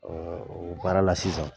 Ɔn o baara la sisan